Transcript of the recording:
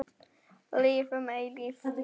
Líf um eilífð.